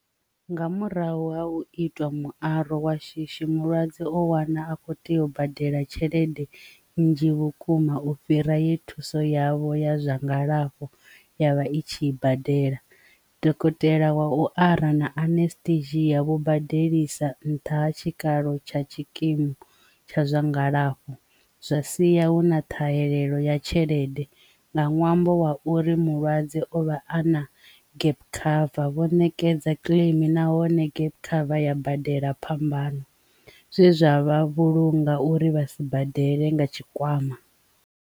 Nga murahu ha u itwa muaro wa shishi mulwadze o wana a kho tea u badela tshelede nnzhi vhukuma u fhira ye thuso yavho ya zwa ngalafho yavha i tshi i badela, dokotela wa u ara na unastetia vho badelisa nṱha ha tshikalo tsha tshikimu tsha zwa ngalafho zwa siya hu na ṱhahelelo ya tshelede nga ṅwambo wa u uri mulwadze o vha a na gap cover vho ṋekedza kiḽeimi nahone gap cover ya badela phambano zwe zwa vha vhulunga uri vha si badele nga tshikwama.